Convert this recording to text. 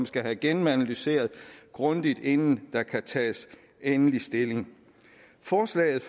skal have gennemanalyseret grundigt inden der tages endelig stilling forslaget